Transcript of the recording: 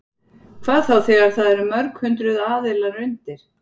Hvað þá þegar það eru mörg hundruð aðilar undir?